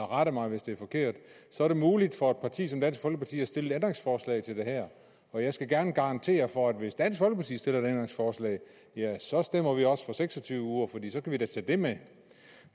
rette mig hvis det er forkert er det muligt for et parti som dansk folkeparti at stille et ændringsforslag til det her og jeg skal gerne garantere for at hvis dansk folkeparti stiller et ændringsforslag så stemmer vi også for seks og tyve uger for så kan vi da tage det med